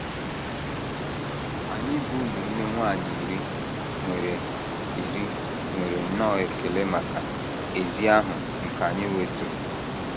Anyị bụ́ ụmụnne nwanyị iri nwere iri nwere nnọọ ekele maka ezi ahụ ike anyị nwetụrụ.